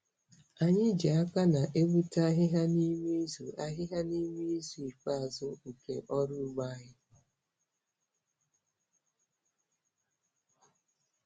Anyị ji aka na-egbute ahịhịa n'ime izu ahịhịa n'ime izu ikpeazụ nke ọrụ ugbo anyị.